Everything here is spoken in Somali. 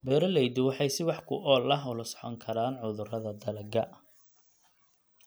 Beeraleydu waxay si wax ku ool ah ula socon karaan cudurrada dalagga